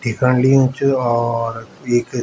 ढिकाण लियुं च और एक --